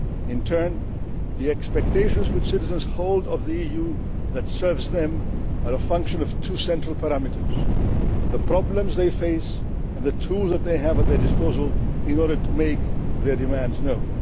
In turn, the expectations which citizens hold of the EU that serves them are a function of two central parameters the problems they face, and the tools they have at their disposal in order to make their demands